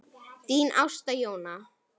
Þín Ásta Jóna.